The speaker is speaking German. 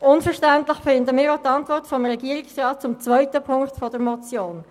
Unverständlich finden wir auch die Antwort des Regierungsrats zur zweiten Ziffer der Motion.